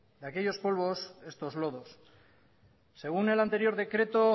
de aquellos polvos estos lodos según el anterior decreto